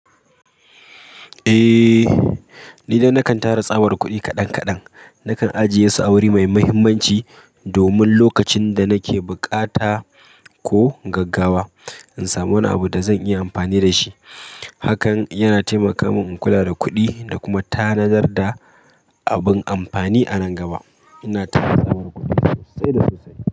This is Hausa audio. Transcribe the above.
Eh, ni dai na kan tara tsabar kuɗi kaɗan kaɗan, nakan ajiye su a wuri mai muhimmanci domin lokacin da nake bukata ko gaggawa, in samu wani abu da zan iya amfani da shi. Hakan yana taimaka min in kula da kuɗi da kuma tanadar da abin amfani a nan gaba. Ina tara tsabar kuɗi sosai da sosai.